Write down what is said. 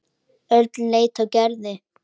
Örn leit á Gerði.